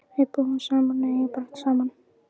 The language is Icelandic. Við búum saman og eigum barn saman.